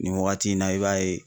Nin wagati in na, i b'a ye.